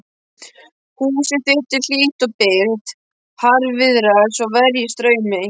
Húsið þitt er hlýtt og byrgt, harðviðra svo verjist straumi.